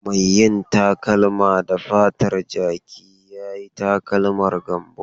Mai yin takalma da fatar jaki ya yi takalman Gambo.